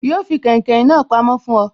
Yo fi kàìnkaìn na pamó fún oy